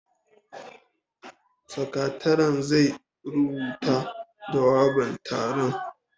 Sakataren zai rubuta jawaban taron